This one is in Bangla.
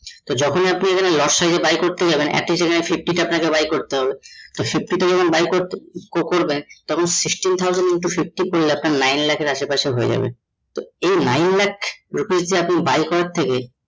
যখনই আপনি এখানে লটসে buy করতে যাবেন একি trade এ fifty টা আপনাকে buy করতে হবে তো যখন buy কো করবেন তখন sixteen thousand into fifty করলে আপনার nine lakh এর আসে পাশে হয়ে যাবে । এই nine lakh rupees আপনি buy করার থেকে